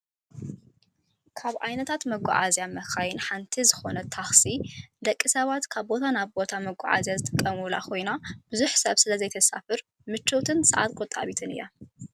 ካብ ዓይነታት መጓዓዝያ መካይን ሓንቲ ዝኮነት ታክሲ ንደቂ ሰባት ካብ ቦታ ናብ ቦታ መጓዓዝያ ዝጥቀሙላ ኮይና፣ ብዙሕ ሰብ ስለዘይተሳፍር ምችውትን ሰዓት ቆጣቢትን እያ።